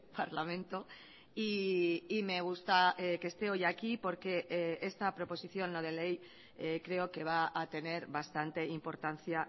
parlamento y me gusta que esté hoy aquí porque esta proposición no de ley creo que va a tener bastante importancia